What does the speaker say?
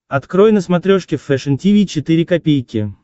открой на смотрешке фэшн ти ви четыре ка